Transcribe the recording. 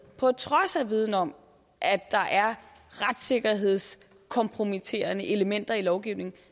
på trods af viden om at der er retssikkerhedskompromitterende elementer i lovgivningen